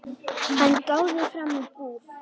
Hann gáði fram í búð.